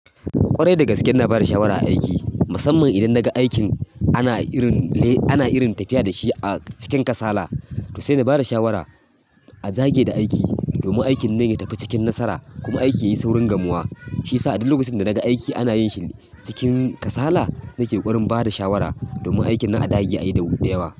Ƙwarai da gaske ina bada shawara a aiki musamman idan na ga aikin ana irin tafiya dashi cikin kasala to sai na bada shawara a dage da aiki domin aikin nan ya tafi cikin nasara kuma aiki yayi saurin gamuwa. Shi sa a duk lokacin da daga aiki ana yin shi cikin kasala, nake ƙwarin bada shawara domin aikin nan a dage ayi da yawa.